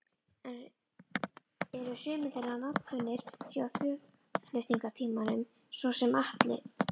Eru sumir þeirra nafnkunnir frá þjóðflutningatímanum, svo sem Atli